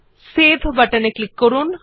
save button এ click করুন